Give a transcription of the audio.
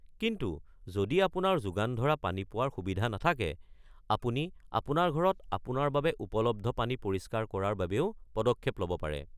কিন্তু যদি আপোনাৰ যোগান ধৰা পানী পোৱাৰ সুবিধা নাথাকে, আপুনি আপোনাৰ ঘৰত আপোনাৰ বাবে উপলব্ধ পানী পৰিষ্কাৰ কৰাৰ বাবেও পদক্ষেপ ল'ব পাৰে।